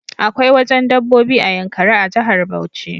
Akwai wajen dabbobi a yankari a jahar Bauchi